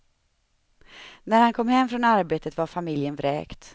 När han kom hem från arbetet var familjen vräkt.